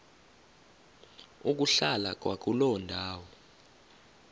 ukuhlala kwakuloo ndawo